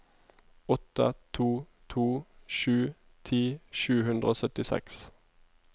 åtte to to sju ti sju hundre og syttiseks